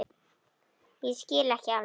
Ég skil ekki alveg